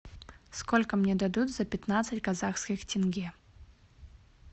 сколько мне дадут за пятнадцать казахских тенге